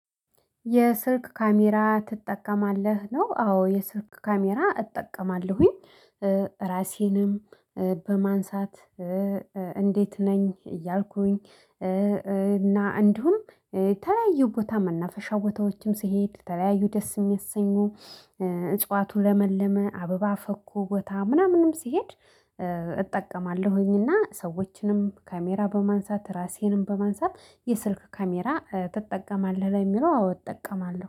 የስልክ ካሜራ ትጠቀማለህ? ነው አዎ የስልክ ካሜራ እጠቀማለሁኝ። ራሴንም በማንሳት እንዴት ነኝ። እያልኩኝ እና እንዲሁም ተለያዩ ቦታ መናፈሻ ቦታዎችም ስሄድ ተለያዩ ደስ የሚያሰኙ። እጽዋቱ ለመለመ አበባ ፈኩ ቦታ ምናምንም ሲሄድ እጠቀማለሁኝ። እና ሰዎችንም ካሜራ በማንሳት ራሴንም በማንሳት የስልክ ካሜራ ትጠቀማለህ? ለሚለው አውጥቀማለሁ